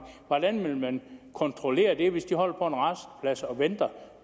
hvordan vil man kontrollere det hvis de holder på en rasteplads og venter